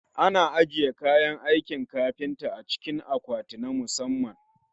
Ana ajiye kayan aikin kafinta a cikin akwatinna musamman